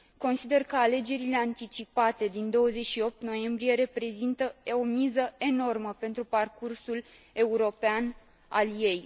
Consider că alegerile anticipate din 28 noiembrie reprezintă o miză enormă pentru parcursul european al ei.